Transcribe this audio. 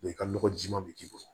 i ka nɔgɔ jiman bɛ k'i bolo